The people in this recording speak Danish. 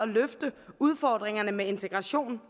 at løfte udfordringerne med integration